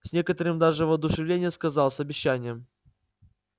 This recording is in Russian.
с некоторым даже воодушевлением сказал с обещанием